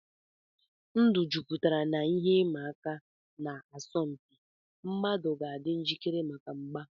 Ndụ jupụtara n'ihe ịma aka na asọmpi; mmadụ ga-adị njikere maka mgba.